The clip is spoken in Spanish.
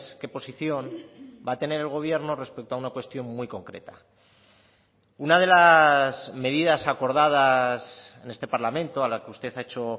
qué posición va a tener el gobierno respecto a una cuestión muy concreta una de las medidas acordadas en este parlamento a la que usted ha hecho